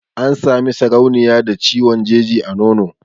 An Sami sarauniya da ciwon jeji na nono